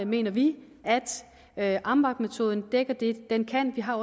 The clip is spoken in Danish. mener vi at amvab metoden dækker det den kan vi har